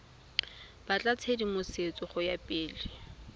batla tshedimosetso go ya pele